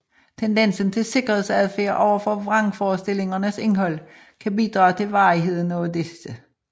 Tendensen til sikkerhedsadfærd overfor vrangforestillingernes indhold kan bidrage til varigheden af disse